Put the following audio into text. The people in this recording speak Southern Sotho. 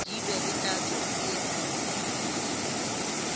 di be le tatso e